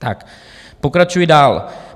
Tak pokračuji dál.